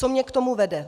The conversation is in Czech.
Co mě k tomu vede?